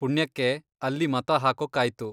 ಪುಣ್ಯಕ್ಕೆ, ಅಲ್ಲಿ ಮತ ಹಾಕೋಕ್ಕಾಯ್ತು.